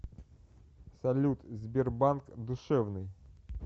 салют сбербанк душевный